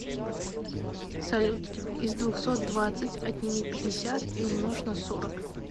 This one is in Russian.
салют из двухсот двадцать отними пятьдесят и умножь на сорок